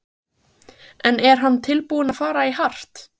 En er hann tilbúinn að fara í hart?